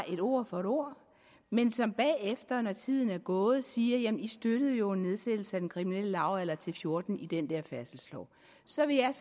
et ord for et ord men som bagefter når tiden er gået siger jamen i støttede jo en nedsættelse af den kriminelle lavalder til fjorten år i den der færdselslov så vil jeg